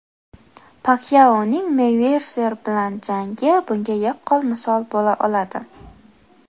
Pakyaoning Meyvezer bilan jangi bunga yaqqol misol bo‘la oladi.